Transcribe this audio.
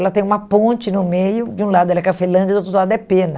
Ela tem uma ponte no meio, de um lado ela é Cafelândia, do outro lado é Pena.